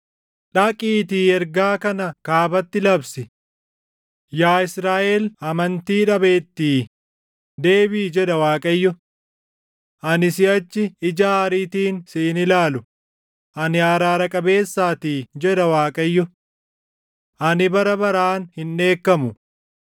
Dhaqiitii ergaa kana kaabatti labsi: “ ‘Yaa Israaʼel amantii dhabeettii, deebiʼi’ jedha Waaqayyo; ‘Ani siʼachi ija aariitiin si hin ilaalu; ani araara qabeessaatii’ jedha Waaqayyo. ‘Ani bara baraan hin dheekkamu.